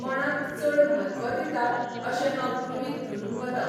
कोणाक चड म्हत्व दिता अशें हांव गृहीत धरून वतां.